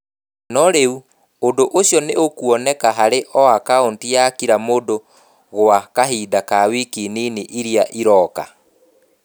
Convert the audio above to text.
No rĩu, ũndũ ũcio nĩ ũkuoneka harĩ o akaunti ya kira mũndũ gwa kahinda ka wiki nini iria iroka.